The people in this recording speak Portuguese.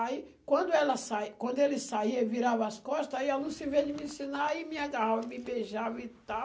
Aí quando ela saí quando ele saía e virava as costas, aí a Lúcia, em vez de me ensinar, ia e me agarrava, e me beijava e tal.